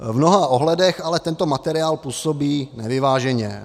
V mnoha ohledech ale tento materiál působí nevyváženě.